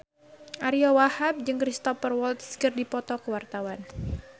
Ariyo Wahab jeung Cristhoper Waltz keur dipoto ku wartawan